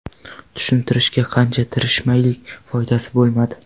Tushuntirishga qancha tirishmaylik, foydasi bo‘lmadi.